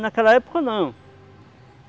Naquela época não.